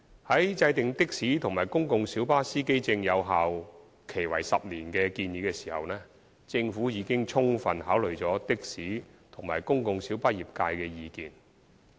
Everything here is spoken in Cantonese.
在制訂的士及公共小巴司機證有效期為10年的建議時，政府已充分考慮的士及公共小巴業界的意見。